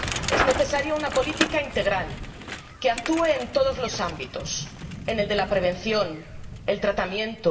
Es necesaria una política integral que actúe en todos los ámbitos en el de la prevención, en el del tratamiento